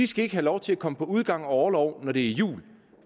skal have lov til at komme på udgang og orlov når det er jul